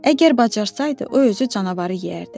Əgər bacarsaydı, o özü canavarı yeyərdi.